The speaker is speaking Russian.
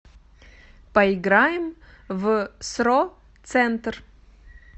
поиграем в сро центр